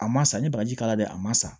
A ma sa n ye bagaji k'a la dɛ a ma sa